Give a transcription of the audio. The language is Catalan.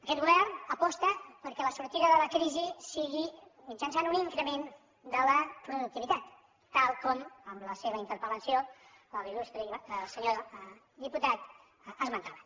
aquest govern aposta perquè la sortida de la crisi sigui mitjançant un increment de la productivitat tal com en la seva interpel·lació l’il·lustre senyor diputat esmentava